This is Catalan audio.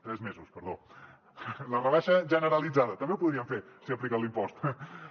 tres mesos perdó la rebaixa generalitzada també ho podrien fer si apliquen l’impost